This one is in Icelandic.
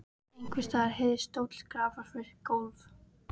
Einhvers staðar heyrðist stóll skrapast við gólf.